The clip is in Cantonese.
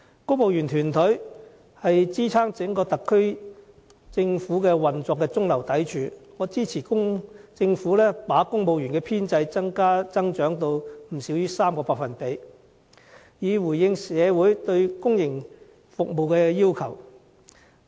公務員團隊是支撐整個特區政府運作的中流砥柱，我支持政府把公務員編制增長至 3% 或以上，以回應社會對公營服務的需求。